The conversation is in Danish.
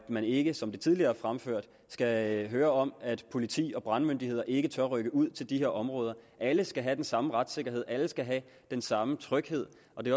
man ikke som tidligere fremført skal høre om at politi og brandmyndigheder ikke tør rykke ud til de her områder alle skal have den samme retssikkerhed alle skal have den samme tryghed og det